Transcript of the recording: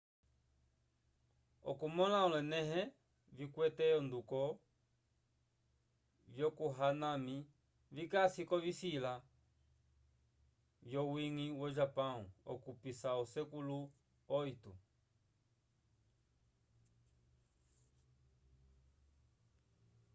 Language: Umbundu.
okumõla olonẽleho vikwete onduko vya hanami vikasi k'ovisila vyowiñgi wo-japão okupisa osekulu viii